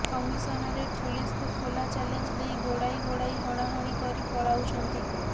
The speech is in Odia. କମିଶନରେଟ୍ ପୁଲିସକୁ ଖୋଲା ଚ୍ୟାଲେଞ୍ଜ ଦେଇ ଗୋଡ଼ାଇ ଗୋଡ଼ାଇ ହଣାହଣି କରି ପଳାଉଛନ୍ତି